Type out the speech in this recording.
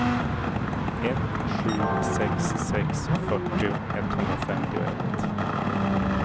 ett sju sex sex fyrtio etthundrafemtioett